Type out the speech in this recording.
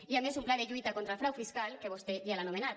i a més un pla de lluita contra el frau fiscal que vostè ja l’ha anomenat